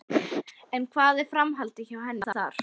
En hvað er framhaldið hjá henni þar?